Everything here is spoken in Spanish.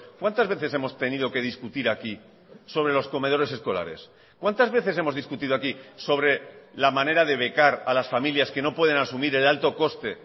cuántas veces hemos tenido que discutir aquí sobre los comedores escolares cuántas veces hemos discutido aquí sobre la manera de becar a las familias que no pueden asumir el alto coste